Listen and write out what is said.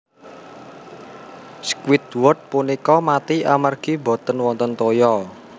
Squidward punika mati amargi boten wonten toya